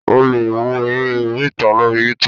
o le wo eré oríta lori Youtube